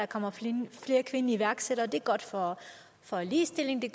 kommer flere kvindelige iværksættere det er godt for for ligestillingen det